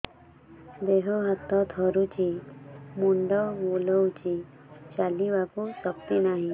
ଦେହ ହାତ ଥରୁଛି ମୁଣ୍ଡ ବୁଲଉଛି ଚାଲିବାକୁ ଶକ୍ତି ନାହିଁ